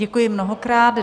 Děkuji mnohokrát.